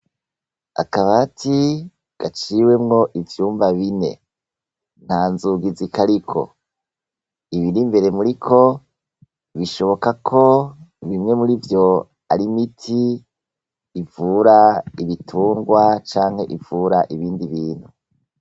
Akabati gaciwemwo ivyumba bine, nta nzugizi kariko. Ibiri imbere biriko bishoboka ko bimwe murivyo ar'imiti ivura ibitungwa canke ibindi bintu.